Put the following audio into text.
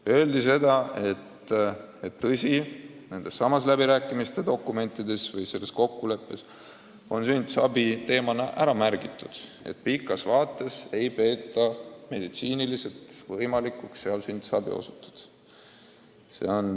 Öeldi seda, et tõsi, läbirääkimiste kokkuleppes on märgitud, et pikas vaates ei peeta võimalikuks seal sünnitusabi osutada.